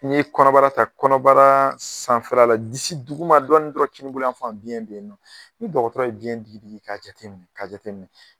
Ni ye kɔnɔbara ta, kɔnɔbara sanfɛ la disi duguma dɔɔni dɔrɔn kini bolo yan fan biɲɛ be yen . Ni dɔgɔtɔrɔ ye biɲɛ diki diki ka jateminɛ ka jateminɛ.